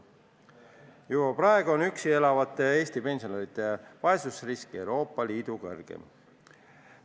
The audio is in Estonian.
Juba praegu on üksi elavate Eesti pensionäride vaesusrisk Euroopa Liidu suurim.